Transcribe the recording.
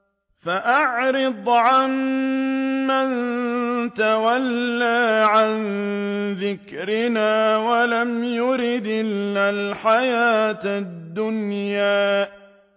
فَأَعْرِضْ عَن مَّن تَوَلَّىٰ عَن ذِكْرِنَا وَلَمْ يُرِدْ إِلَّا الْحَيَاةَ الدُّنْيَا